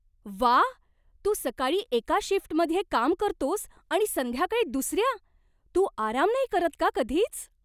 व्वा! तू सकाळी एका शिफ्टमध्ये काम करतोस आणि संध्याकाळी दुसऱ्या! तू आराम नाही करत का कधीच?